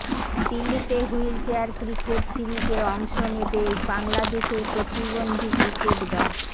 দিল্লিতে wheelchair cricket সিরিজে অংশ নেবে বাংলাদেশের প্রতিবন্ধী ক্রিকেট দল